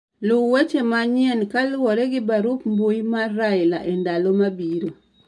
Lu weche manyien kaluwore gi barup mbui mar raila e ndalo mabiro